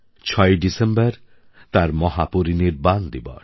৬ই ডিসেম্বর তাঁর মহাপরিনির্বাণ দিবস